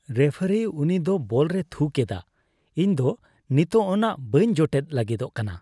ᱨᱮᱯᱷᱟᱨᱤ, ᱩᱱᱤ ᱫᱚ ᱵᱚᱞ ᱨᱮᱭ ᱛᱷᱩ ᱠᱮᱫᱟ ᱾ ᱤᱧ ᱫᱚ ᱱᱤᱛᱚᱜ ᱚᱱᱟ ᱵᱟᱹᱧ ᱡᱚᱴᱮᱫ ᱞᱟᱹᱜᱤᱫᱚᱜ ᱠᱟᱱᱟ ᱾